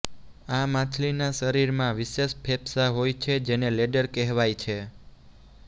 આ માછલીના શરીરમાં વિશેષ ફેંફસા હોય છે જેને લૈડર કહેવાય છે